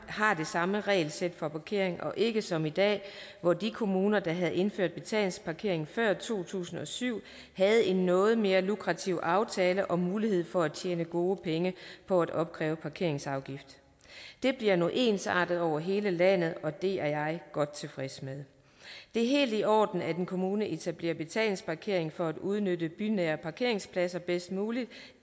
har det samme regelsæt for parkering og ikke som i dag hvor de kommuner der havde indført betalingsparkering før to tusind og syv havde en noget mere lukrativ aftale og mulighed for at tjene gode penge på at opkræve parkeringsafgift det bliver nu ensartet over hele landet og det er jeg godt tilfreds med det er helt i orden at en kommune etablerer betalingsparkering for at udnytte bynære parkeringspladser bedst muligt